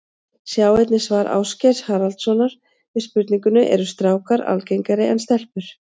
Sjá einnig svar Ásgeirs Haraldssonar við spurningunni Eru strákar algengari en stelpur?